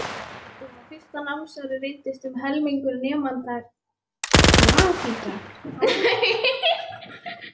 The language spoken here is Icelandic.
Og á fyrsta námsári reyndist um helmingur nemenda Gyðingar.